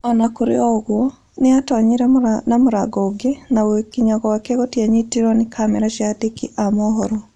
O na kũrĩ ũguo, nĩ aatoonyire na mũrango ũngĩ, na gũkinya gwake gũtianyitirwo nĩ kamera cia andĩki a mohoro.